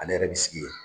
Ale yɛrɛ bi sigi yen